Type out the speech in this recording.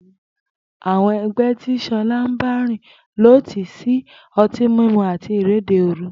Àwo̩n e̩gbé̩ tí S̩o̩lá ń bárìn ló tì í sí o̩tí mímu àti ìréde òru